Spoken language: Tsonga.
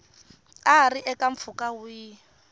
a ri eka mpfhuka wihi